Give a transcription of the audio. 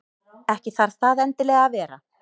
Ekki þarf það endilega að vera.